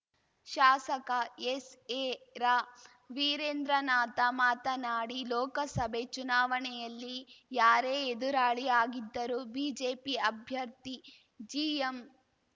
ಶಾಸಕ ಎಸ್‌ಎರವಿರೇಂದ್ರನಾಥ ಮಾತನಾಡಿ ಲೋಕಸಭೆ ಚುನಾವಣೆಯಲ್ಲಿ ಯಾರೇ ಎದುರಾಳಿ ಆಗಿದ್ದರೂ ಬಿಜೆಪಿ ಅಭ್ಯರ್ಥಿ ಜಿಎಂ